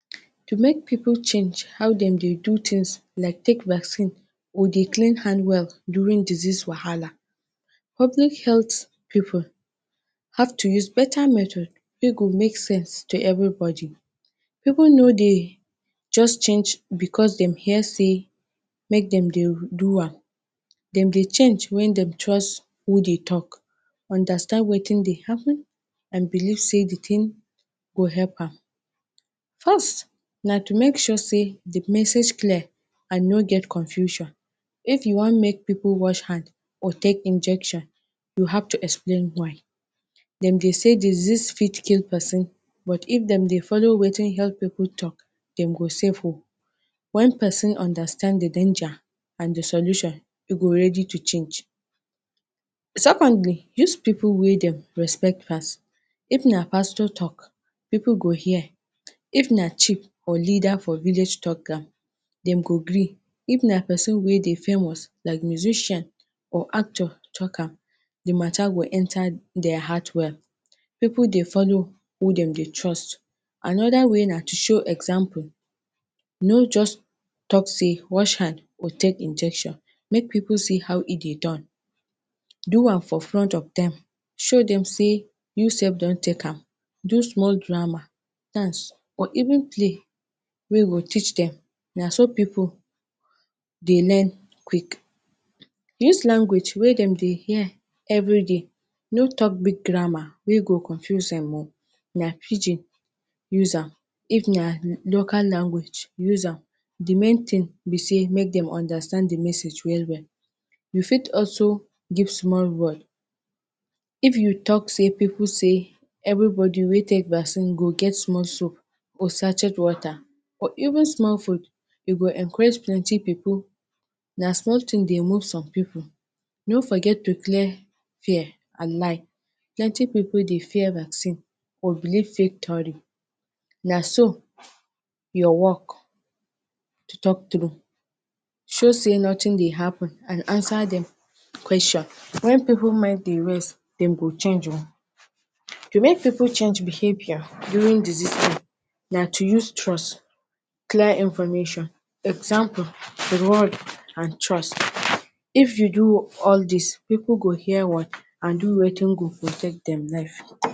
To make pipu change how dem dey do tins like take vaccine or dey clean hand well during disease wahala. Public health pipu have to use beta method wey go make sense to everybody. Pipu no dey just change because dem hear sey make dem dey do am. Dem dey change wen dem trust who dey tok, understand wetin dey happen and believe sey di tin go epp am. First, na to make sure sey di message clear and no get confusion. If you wan make pipu wash hand or take injection, you have to explain why. Dem dey say disease fit kee pesin, but if dem dey follow wetin health pipu tok, dem go safe oh. Wen pesin understand di danger and di solution, dem go ready to change. Secondly, use pipu wey dem respect first. If na pastor tok, pipu go hear, if na chief or leada for village tok am, dem go gree. If na pesin wey dey famous, like musician or actor tok am, di ma?ta? go enta dia heart well. Pipu dey follow who dem dey trust. Anoda way na to show example. No just tok say “watch hand or take injection.” Make pipu see how e dey don. Do am for front of dem. Show dem sey you sef don take am. Do small drama, dance, or even play wey go teach pipu, na so pipu dey learn quick. Use language wey dem dey hear everyday. No tok big grammar wey go confuse dem oh. If na Pidgin, use am. If na local language, use am. Di main tin be sey make dem understand di message well well. You fit also give small reward. If you fit tok say pipu sey everybody wey take vaccine go get small soap or sachet water or even small food, e go encourage plenty pipu. Na small tin dey move some pipu. No forget to clear fear and lie. Plenty pipu dey fear vaccine or believe fake tory. Na so, your work, to tok true, show sey notin dey happen and ansa dem kweshon. Wen pipu mind dey rest, dem go change oh. To make pipu change behavior during disease, na to use trust, clear information. Example, reward and trust. If you do all dis, pipu go hear word and do wetin go protect dem.